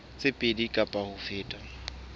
tse pedi kapa ho feta